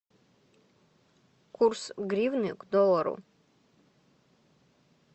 курс гривны к доллару